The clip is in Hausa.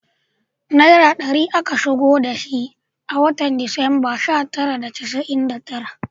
Naira ɗari aka shigo da shi a watan Disamba sha tara da casa’in da tara